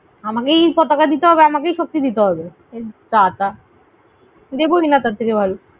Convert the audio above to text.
আমাকেই পতাকা দিতে হবে, আমাকেই শক্তি দিতে হবে? বাবা